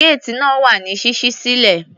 Géètì náà wà ní ṣíṣí sílẹ̀.